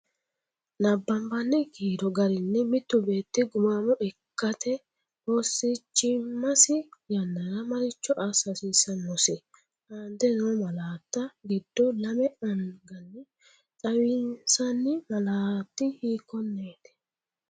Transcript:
Nabbabbini kiiro garinni mittu beetti gumaamo ikkate oosichimmasi yannara maricho assa hasiissannosi? Aante noo malaatta giddo lame anganni xawinsanni malaati hiikkon- neeti?